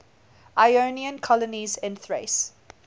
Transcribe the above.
ionian colonies in thrace